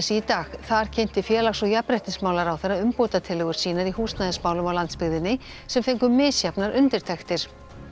í dag þar kynnti félags og jafnréttismálaráðherra umbótatillögur sínar í húsnæðismálum á landsbyggðinni sem fengu misjafnar undirtektir